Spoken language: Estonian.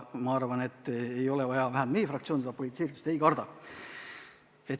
Ma arvan, et ei ole vaja seda karta, vähemalt meie fraktsioon seda politiseeritust ei karda.